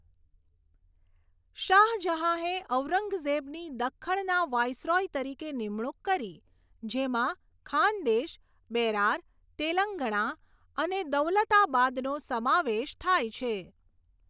શાહજહાંએ ઔરંગઝેબની દખ્ખણના વાઇસરૉય તરીકે નિમણુક કરી, જેમાં ખાનદેશ, બેરાર, તેલંગણા અને દૌલતાબાદનો સમાવેશ થાય છે.